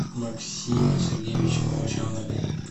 максиме сергеевиче молчанове